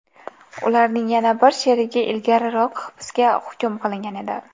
Ularning yana bir sherigi ilgariroq hibsga hukm qilingan edi.